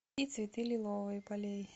и цветы лиловые полей